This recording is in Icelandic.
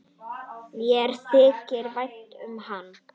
Mér þykir vænt um hana.